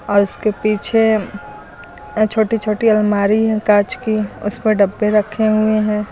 उसके पीछे अह छोटी छोटी अलमारी हैं कांच की उस पर डब्बे रखें हुए हैं।